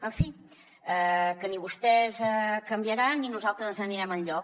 en fi que ni vostès canviaran ni nosaltres ens n’anirem enlloc